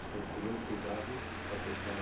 Você recebeu o cuidado da pessoa na